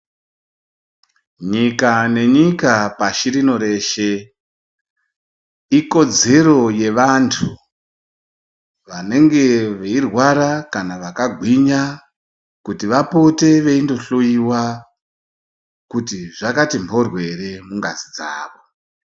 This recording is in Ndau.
Nyika nenyika pashi rino reshe ikodzero yevantu vanenge veirwara kana vakagwinya kuti vapote veindohloyiwa kuti zvakati mhoryo ere mungazi dzawo.